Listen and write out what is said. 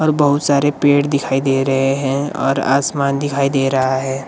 और बहुत सारे पेड़ दिखाई दे रहे हैं और आसमान दिखाई दे रहा है।